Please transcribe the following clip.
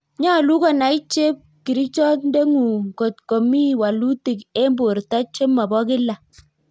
Nyolu konai chepkirichot ndeng'ung kot ko mi walutik en borto chemobo kila